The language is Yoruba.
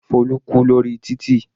Folu kú lórí títì.